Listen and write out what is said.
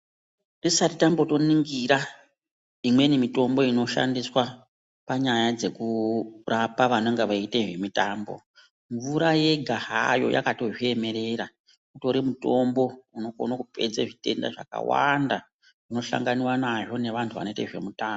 Tisati tatomboningira imweni mitombo inoshandiswa panyaya dzekurapa vanenge vachiita zvemutambo mvura yega hayo yakato zviemerera utori mutombo unokona kupedza zvitenda zvakawanda unosanganwa nazvo nezvahu vanoita zvemitambo.